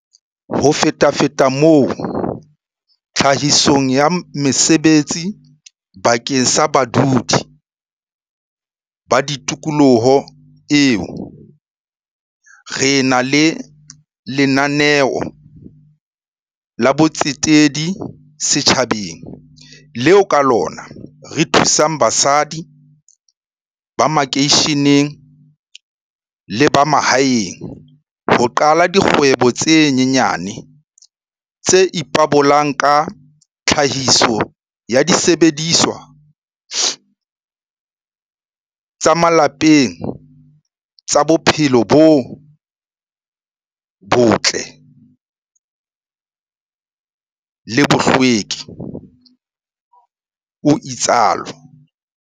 Ho fetafeta moo tlhahisong ya mesebetsi bakeng sa badudi ba tikoloho eo, re na le lena neo la botsetedi setjhabeng, leo ka lona re thusang basadi ba makeisheneng le ba mahaeng ho qala dikgwebo tse nyenyane tse ipabolang ka tlhahiso ya disebediswa tsa malapeng tsa bophelo bo botle le bohlweki, o itsalo.